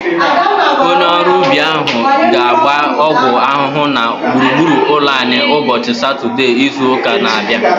Onye ọrụ ubi ahu ga-agba ọgwụ ahụhụ na gburugburu ụlọ anyị ụbọchị Satọdee izu ụka na-abịa